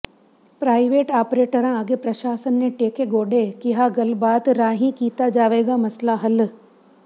private ਆਪ੍ਰੇਟਰਾਂ ਅੱਗੇ ਪ੍ਰਸ਼ਾਸਨ ਨੇ ਟੇਕੇ ਗੋਡੇ ਕਿਹਾ ਗੱਲਬਾਤ ਰਾਹੀਂ ਕੀਤਾ ਜਾਵੇਗਾ ਮਸਲਾ ਹੱਲ